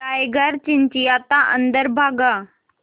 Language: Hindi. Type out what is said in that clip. टाइगर चिंचिंयाता अंदर भागा